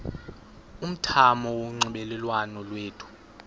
umthamo wonxielelwano lwethu